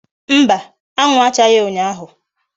Mba, anwu achaghi unyahu